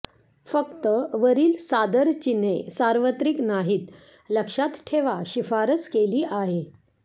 फक्त वरील सादर चिन्हे सार्वत्रिक नाहीत लक्षात ठेवा शिफारस केली आहे